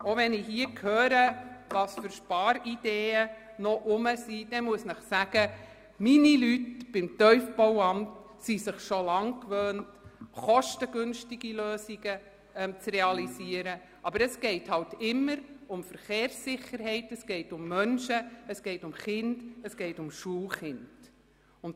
Auch wenn ich höre, welche Sparideen hier noch zirkulieren, muss ich Ihnen sagen, dass es meine Leute vom Tiefbauamt schon lange gewohnt sind, kostengünstige Lösungen zu realisieren, wobei es immer um Verkehrssicherheit geht, um Menschen, Kinder und Schulkinder.